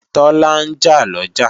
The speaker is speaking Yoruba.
Tọ́lá ń jà lọ́jà